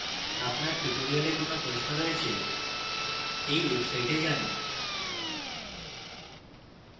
আপনার tutorial কোনো প্রশ্ন রয়েছে এই site যান